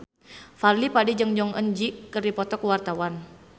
Fadly Padi jeung Jong Eun Ji keur dipoto ku wartawan